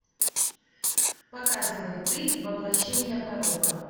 показывай ты воплощение порока